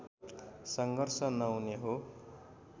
सङ्घर्ष नहुने हो